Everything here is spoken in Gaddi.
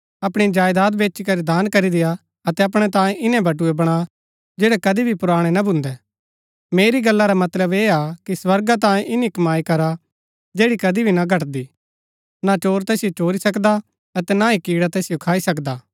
अपणी जायदात बेचीकरी दान करी देआ अतै अपणै तांयें इन्‍नै बटुए बणा जैड़ै कदी भी पुराणै ना भून्दै मेरी गला रा मतलब ऐह हा कि स्वर्गा तांयें ईनी कमाई करा जैड़ी कदी भी ना घटदी ना चोर तैसिओ चोरी सकदा अतै ना ही कीड़ा तैसिओ खाई सकदा